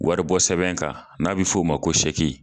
Waribɔsɛbɛn in kan n'a bɛ f'o ma ko